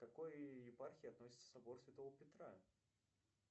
к какой епархии относится собор святого петра